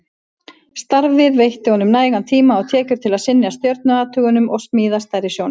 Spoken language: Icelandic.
Starfið veitti honum nægan tíma og tekjur til að sinna stjörnuathugunum og smíða stærri sjónauka.